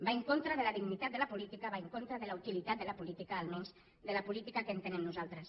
va en contra de la dignitat de la política va en contra de la utilitat de la política almenys de la política que entenem nosaltres